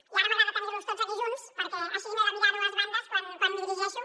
i ara m’agrada tenir los tots aquí junts perquè així no he de mirar a dues bandes quan m’hi dirigeixo